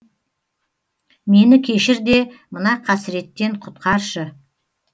мені кешір де мына қасіреттен құтқаршы